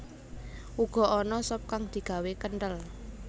Uga ana sop kang digawé kenthel